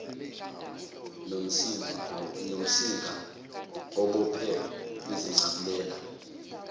nomsinga obophe izincabulela